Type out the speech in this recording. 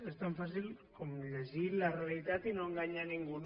és tan fàcil com llegir la realitat i no enganyar ningú